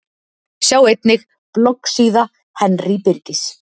Sjá einnig: Bloggsíða Henry Birgis